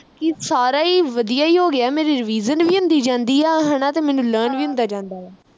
ਕਿ ਸਾਰਾ ਈ ਵਧੀਆ ਈ ਹੋ ਗਿਆ ਮੇਰੀ revision ਵੀ ਹੁੰਦੀ ਜਾਂਦੀ ਆ ਹਣਾ ਤੇ ਮੈਨੂੰ learn ਵੀ ਹੁੰਦਾ ਜਾਂਦਾ ਆ